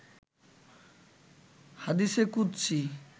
হাদিসে কুদসি